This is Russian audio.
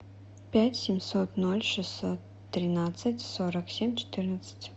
пять семьсот ноль шестьсот тринадцать сорок семь четырнадцать